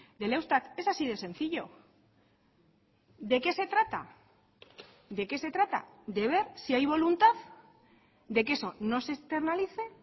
del eustat es así de sencillo de qué se trata de qué se trata de ver si hay voluntad de que eso no se externalice